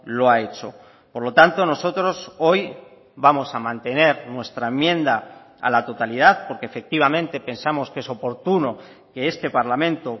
lo ha hecho por lo tanto nosotros hoy vamos a mantener nuestra enmienda a la totalidad porque efectivamente pensamos que es oportuno que este parlamento